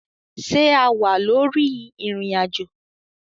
Ṣe a wa lori irin-ajo?